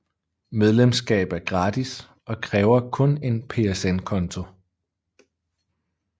Medlemskab er gratis og kræver kun en PSN konto